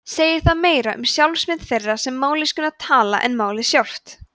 segir það meira um sjálfsmynd þeirra sem mállýskuna tala en málið sjálft